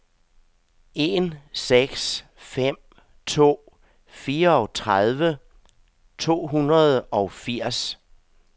en seks fem to fireogtredive to hundrede og firs